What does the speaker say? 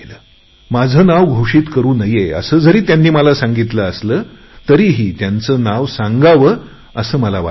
माझे नाव घोषित करु नये असे जरी मला सांगितले असले तरी त्यांचे नाव सांगावे असे मनाला वाटत आहे